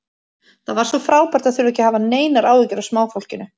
Það var svo frábært að þurfa ekki að hafa neinar áhyggjur af smáfólkinu.